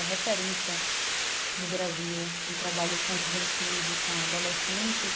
É referência no Brasil em trabalho com juventude, com adolescentes.